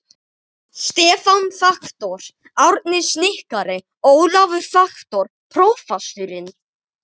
Stefán faktor, Árni snikkari, Ólafur faktor, prófasturinn.